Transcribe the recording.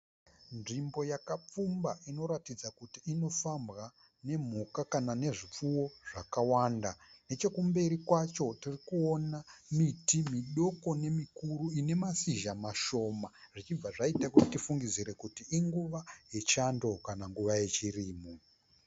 Nzvimbo yakapfumba inoratidza kuti inofambwa nemhuka kana nezvipfuwo zvakawanda. Nechekumberi kwacho tirikuwona miti midoko nemikuru ine mashizha mashoma zvichibva zvqita kuti tifungidzire kuti inguva yechando kana yechirimo.